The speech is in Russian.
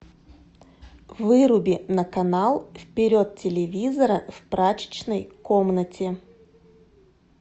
выруби на канал вперед телевизора в прачечной комнате